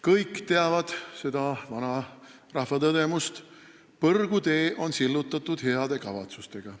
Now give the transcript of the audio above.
Kõik teavad seda vana rahvatõdemust, et põrgutee on sillutatud heade kavatsustega.